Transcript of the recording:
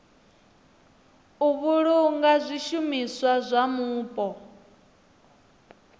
u vhulunga zwishumiswa zwa mupo